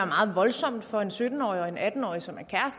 meget voldsomt for en sytten årig og en atten årig som er